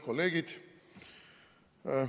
Kolleegid!